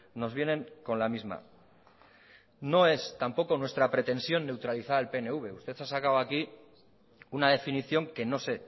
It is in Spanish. nos vienen con la misma no es tampoco nuestra pretensión neutralizar al pnv usted ha sacado aquí una definición que no sé